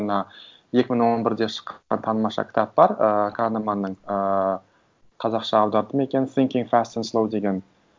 мына екі мың он бірде шыққан тамаша кітап бар ы канеманның ы қазақша аударды ма екен синкин фаст энд слоу деген